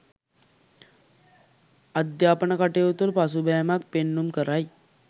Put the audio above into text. අධ්‍යාපන කටයුතුවල පසුබෑමක් පෙන්නුම් කරයි.